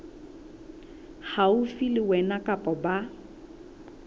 haufi le wena kapa ba